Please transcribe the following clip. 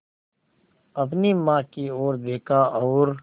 अपनी माँ की ओर देखा और